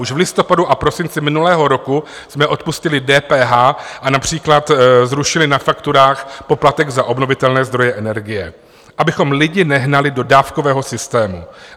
Už v listopadu a prosinci minulého roku jsme odpustili DPH a například zrušili na fakturách poplatek za obnovitelné zdroje energie, abychom lidi nehnali do dávkového systému.